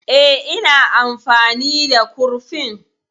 Eh, ina amfani da kurfin